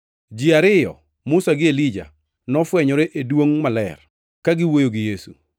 Ji ariyo, Musa gi Elija, nofwenyore e duongʼ maler, ka giwuoyo gi Yesu.